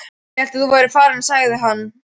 Ég hélt þú værir farinn sagði hann.